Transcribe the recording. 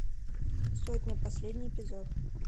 сотня последний эпизод